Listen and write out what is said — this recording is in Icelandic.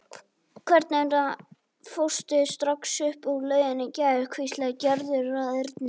Hvers vegna fórstu strax upp úr lauginni í gær? hvíslaði Gerður að Erni.